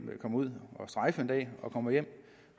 kommer ud at strejfe og kommer hjem